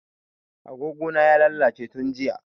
A gogo na ya lalace tun jiya